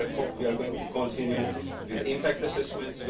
We are going to continue with impact assessments.